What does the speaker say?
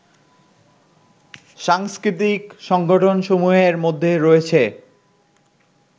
সাংস্কৃতিক সংগঠনসমূহের মধ্যে রয়েছে